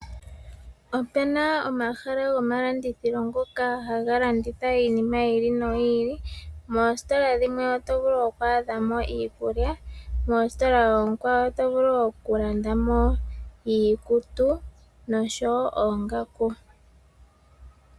Opena omahala gomalandithilo ngoka ha ga landitha iinima yi ili noyi ili. Moositola dhino otovulu oku adha mo iikulya, moositola oonkwawo oto vulu okulandamo iikutu nosho woo oongaku.